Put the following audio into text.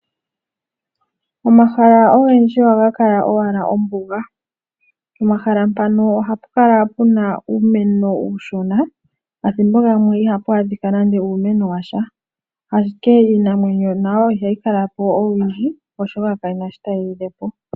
Omahala ogendji ohaga kala owala ombuga. Pomahala mpono ohapu kala owala uumeno uushona nenge kapenasha. Iinamwenyo ihayi kala oshoka kayina shoka tayi lilepo.